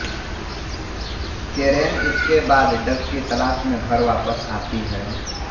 केरेन इसके बाद डग की तलाश में घर वापस आती है